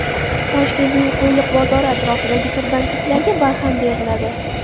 Toshkentning Qo‘yliq bozori atrofidagi tirbandliklarga barham beriladi.